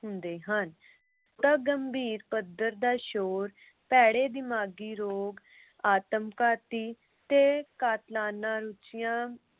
ਹੁੰਦੇ ਹਨ। ਬਹੁਤਾ ਗੰਭੀਰ ਪੱਧਰ ਦਾ ਸ਼ੋਰ ਭੈੜੇ ਦਿਮਾਗੀ ਰੋਗ, ਆਤਮਘਾਤੀ ਤੇ ਕਾਤਲਾਨਾਂ ਰੁਚੀਆਂ